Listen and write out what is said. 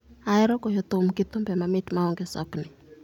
ahero goyo thum gi thumbe mamit maonge sokni